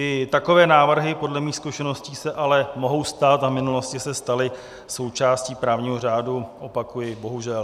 I takové návrhy podle mých zkušeností se ale mohou stát a v minulosti se staly součástí právního řádu, opakuji - bohužel.